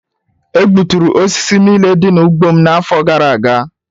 E gbuturu osisi niile dị n'ugbo m n'afọ gara aga.